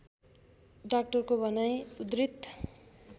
डाक्टरको भनाइ उद्धृत